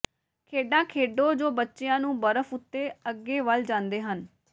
ਖੇਡਾਂ ਖੇਡੋ ਜੋ ਬੱਚਿਆਂ ਨੂੰ ਬਰਫ਼ ਉੱਤੇ ਅੱਗੇ ਵੱਲ ਜਾਂਦੇ ਹਨ